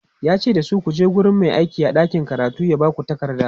yace dasu"kuje wurin Mai aiki a ɗakin karatu ya Baku takarda!"